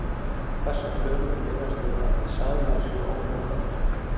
Þessar tölur miðast við að seðlarnir séu ónotaðir.